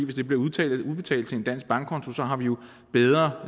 det bliver udbetalt til en dansk bankkonto har vi jo bedre